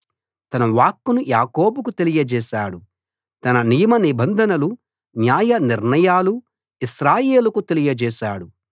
తన వాక్కును యాకోబుకు తెలియజేశాడు తన నియమనిబంధనలు న్యాయ నిర్ణయాలు ఇశ్రాయేలుకు తెలియజేశాడు